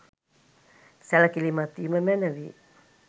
සැලකිලිමත් වීම මැනවි.